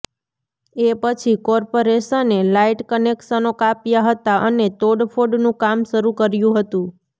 એ પછી કોર્પાેરેશને લાઈટ કનેક્શનો કાપ્યાં હતા અને તોડફોડનું કામ શરૃ કર્યુ ંહતું